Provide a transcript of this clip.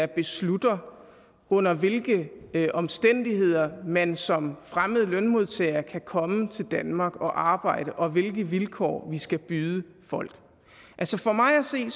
der beslutter under hvilke omstændigheder man som fremmed lønmodtager kan komme til danmark og arbejde og hvilke vilkår vi skal byde folk for mig at se